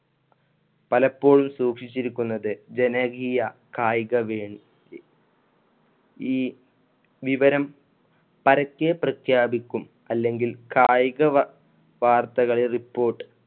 പലപ്പോഴും സൂക്ഷിച്ചിരിക്കുന്നത് ജനകീയ കായിക വി~ ഈ വിവരം പരക്കെ പ്രഖ്യാപിക്കും അല്ലെങ്കിൽ കായിക വാ~ വാർത്തകൾ report